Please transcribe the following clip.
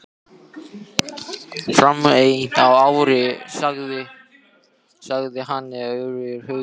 Fáein ár sagði hann annars hugar.